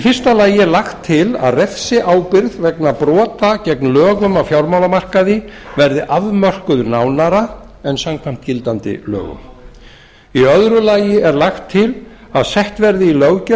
fyrsta lagt er til að refsiábyrgð vegna brota gegn lögum á fjármálamarkaði verði afmörkuð nánar en samkvæmt gildandi lögum annars lagt er til að sett verði í löggjöf